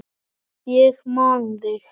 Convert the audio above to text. Ég man þig.